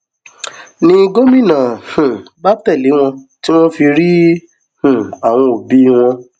ni gómìnà um bá tẹlé wọn tí wọn fi rí um àwọn òbí wọn